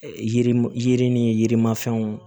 Yirim yiri ni yirimafɛnw